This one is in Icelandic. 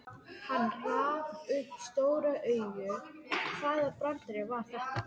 Hann rak upp stór augu, hvaða brandari var þetta?